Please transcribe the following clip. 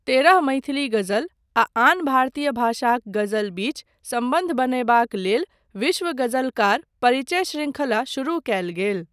तेरह मैथिली गजल आ आन भारतीय भाषाक गजल बीच सम्बन्ध बनयबाक लेल विश्व गजलकार परिचय शृंखला शुरू कयल गेल।